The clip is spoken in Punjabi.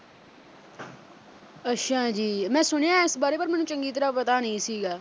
ਅੱਛਾ ਜੀ ਮੈਂ ਸੁਣਿਐਂ ਇਸ ਬਾਰੇ ਪਰ ਮੈਨੂੰ ਚੰਗੀ ਤਰ੍ਹਾਂ ਪਤਾ ਨਹੀਂ ਸੀਗਾ।